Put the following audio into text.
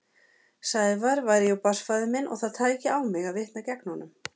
Sævar væri jú barnsfaðir minn og það tæki á mig að vitna gegn honum.